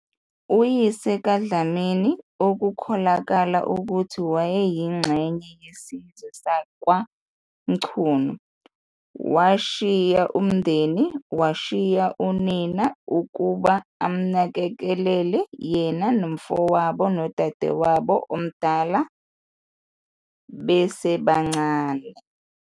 Uyise kaDlamini, okukholakala ukuthi wayeyingxenye yesizwe sakwaMchunu, washiya umndeni, washiya unina ukuba amnakekele yena nomfowabo nodadewabo omdala besebancane.